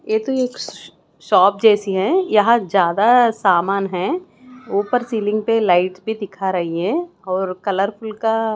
ये तो एक सो-शॉप जेसी है यह ज्यादा सामान हैं ऊपर सिल्लिंग पे लाइट्स भी दिखा रही है ये और कलरफुल का--